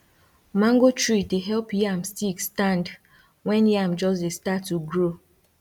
mango tree dey help yam stick stand when yam just dey start to grow